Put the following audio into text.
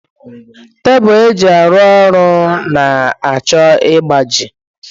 Tebụl eji arụ ọrụ na-achọ ịgbaji